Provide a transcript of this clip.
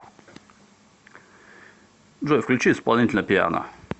джой включи исполнителя пиано